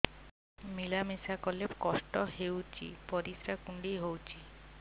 ମିଳା ମିଶା କଲେ କଷ୍ଟ ହେଉଚି ପରିସ୍ରା କୁଣ୍ଡେଇ ହଉଚି